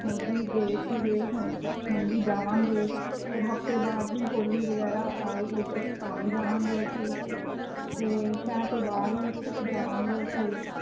ਹੁਣ ਵੀ ਗਏ ਸੀ ਗਏ ਹੁਣ ਵੀ ਜਾਵਾਂਗੇ, ਫਿਰ ਹਫ਼ਤੇ ਬਾਅਦ ਵੀ ਹੋਲੀ ਵਗੈਰਾ ਆਏਗੀ ਤਾਂ ਤਾਂਵੀ ਜਾਵਾਂਗੇ ਅਸੀਂ, ਤੇ ਸ਼ਹਿਰ ਤੋਂ ਬਾਹਰ ਹੀ ਜਾਵਾਂਗੇ ਅਸੀਂਂ